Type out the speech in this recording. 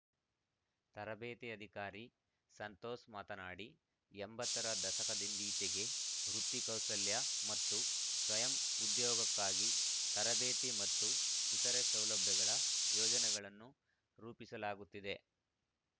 ತರಬೇತಿ ಅಧಿಕಾರಿ ಸಂತೋಷ್‌ ಮಾತನಾಡಿ ಎಂಬತ್ತ ರ ದಶಕದಿಂದಿಚೆಗೆ ವೃತ್ತಿ ಕೌಶಲ್ಯ ಮತ್ತು ಸ್ವಯಂ ಉದ್ಯೋಗಕ್ಕಾಗಿ ತರಬೇತಿ ಮತ್ತು ಇತರೆ ಸೌಲಭ್ಯಗಳ ಯೋಜನೆಗಳನ್ನು ರೂಪಿಸಲಾಗುತ್ತಿದೆ